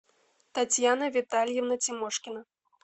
татьяна витальевна тимошкина